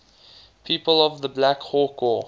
people of the black hawk war